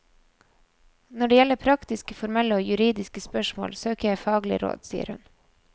Når det gjelder praktiske, formelle og juridiske spørsmål, søker jeg faglig råd, sier hun.